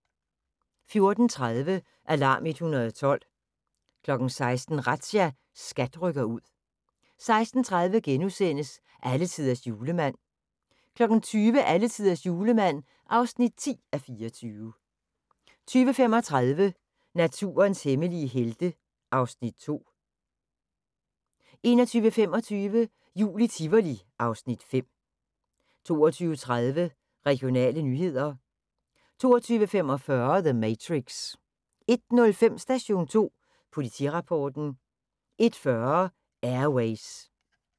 14:30: Alarm 112 16:00: Razzia – SKAT rykker ud 16:30: Alletiders Julemand (9:24)* 20:00: Alletiders Julemand (10:24) 20:35: Naturens hemmelige helte (Afs. 2) 21:25: Jul i Tivoli (Afs. 5) 22:30: Regionale nyheder 22:45: The Matrix 01:05: Station 2 Politirapporten 01:40: Air Ways